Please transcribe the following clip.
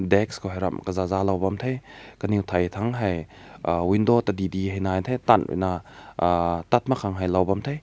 desk ko aram kaza kaza loa bam te kanew tai tang hai uh window tadi tadi hae nai te tam rui na uh tam man kang rui lao te.